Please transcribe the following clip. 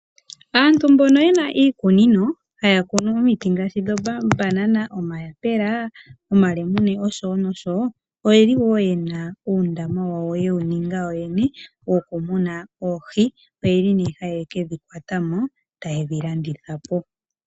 Aantu mbono yena iikunino, haya kunu omiti ngaashi dhomabanana omayapela, omalemune nosho tuu, oyeli woo yena uundama wawo yewu ninga yoyene wokumuna oohi, oyeli nee haye kedhi kwatamo eta yedhi landitha po